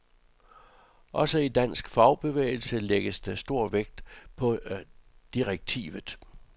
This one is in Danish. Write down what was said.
Også i dansk fagbevægelse lægges stor vægt på direktivet.